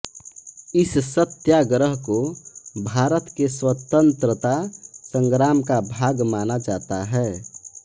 इस सत्याग्रह को भारत के स्वतंत्रता संग्राम का भाग माना जाता है